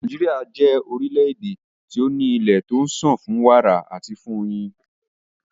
Nàíjíríà jẹ́ orílẹ̀-èdè tí o ní ilé tí ó ń sàn fún wàrà àti fún oyin.